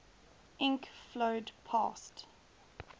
ink flowed past